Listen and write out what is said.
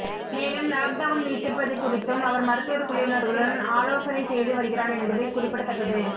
மேலும் லாக்டவுன் நீட்டிப்பது குறித்தும் அவர் மருத்துவர் குழுவினர்களுடன் ஆலோசனை செய்து வருகிறார் என்பது குறிப்பிடத்தக்கது